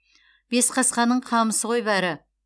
бесқасқаның қамысы ғой бәрі